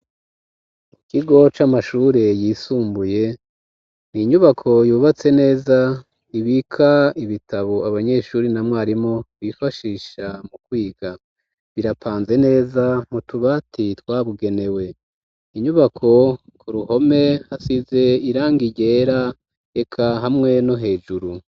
Ikigo c'amashure yisumbuye n'inyubako yubatse neza ibika ibitabo abanyeshuri na mwarimu bifashisha mu kwiga birapanze neza m'utubati twabugenewe inyubako ku ruhome hasize irangi ryera eka hamwe no hejuru.